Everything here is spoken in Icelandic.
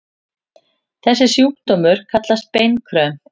Þessi sjúkdómur kallast beinkröm.